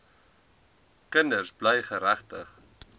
kinders bly geregtig